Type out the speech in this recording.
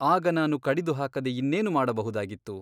ಆಗ ನಾನು ಕಡಿದು ಹಾಕದೆ ಇನ್ನೇನು ಮಾಡಬಹುದಾಗಿತ್ತು ?